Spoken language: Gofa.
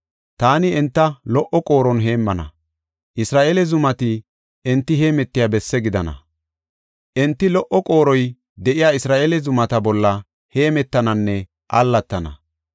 Taani enta lo77o qooron heemmana; Isra7eele zumati enti heemetiya besse gidana. Enti lo77o qooroy de7iya Isra7eele zumata bolla hemetananne allatana.